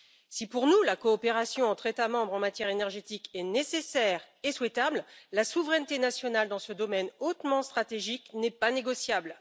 Si, pour nous, la coopération entre États membres en matière énergétique est nécessaire et souhaitable, la souveraineté nationale dans ce domaine hautement stratégique n'est pas négociable.